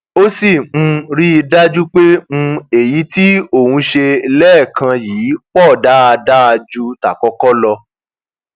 ó sì um rí i dájú pé um èyí tí òun ṣe lẹẹkan yìí pọ dáadáa ju tàkọkọ lọ